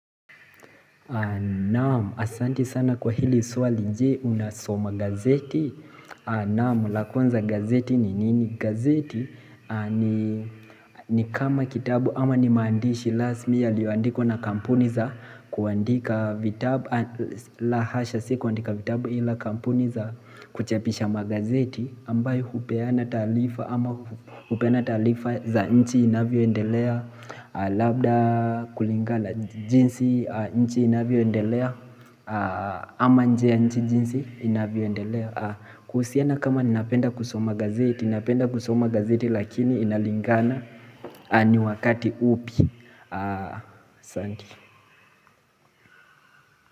Naam asanti sana kwa hili swali je unasoma gazeti Naam la kwanza gazeti ni nini gazeti ni kama kitabu ama ni maandishi Last mea lioandiko na kampuni za kuandika vitabu la hasha sikuandika vitabu ila kampuni za kuchapisha magazeti ambayo hupeana taarifa ama hupeana taarifa za nchi inavyoendelea Labda kulingalana jinsi nchi inavyoendelea ama nje nchi jinsi inavyoendelea kuhusiana kama ninapenda kusoma gazeti ninapenda kusoma gazeti lakini inalingana ni wakati upi asanti.